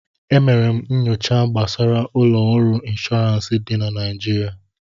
E mere m nyocha m gbasara ụlọ ọrụ ịnshọọransị dị na Naịjirịa